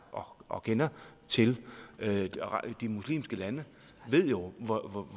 og kender til de muslimske lande ved jo